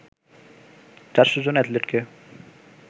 ৪০০ জন এথলেটকে